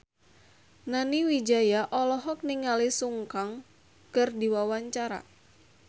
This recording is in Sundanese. Nani Wijaya olohok ningali Sun Kang keur diwawancara